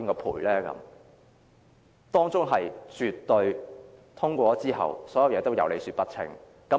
《條例草案》通過後，所有事情也絕對有理說不清。